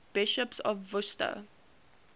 bishops of worcester